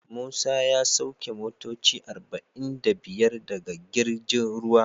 Musa ya sauki motoci arba'in da biyar daga girjin ruwa.